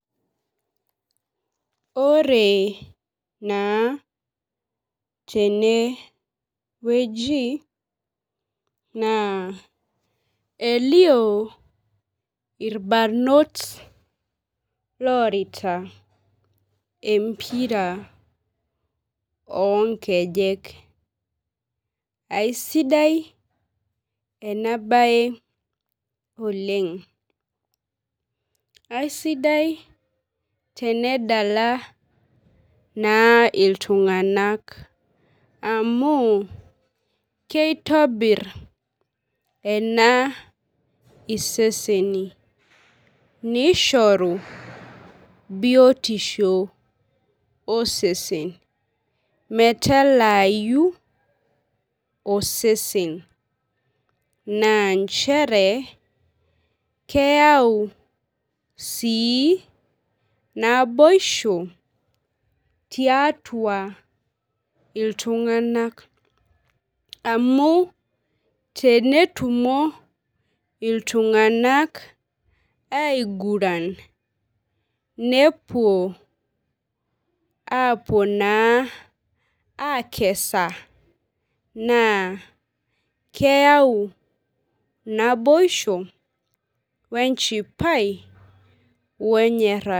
Ore naa tene naa elio irbanot orita empira onkejek , aisidai enabae oleng, aisidai tenedala naa iltunganak amu keitobir naa iseseni , nishoru biotisho osesen , metaalayu osesen , naa nchere keyau sii naboisho tiatua iltunganak amu teneiguran iltunganak , nepuo apuo anaa akesa naa keyau naboisho , wenchipai, wenyorata.